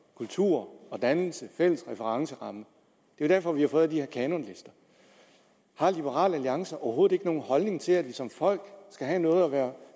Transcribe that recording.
kultur og dannelse og fælles referenceramme det er derfor vi har fået de her kanonlister har liberal alliance overhovedet ikke nogen holdning til at vi som folk skal have noget at være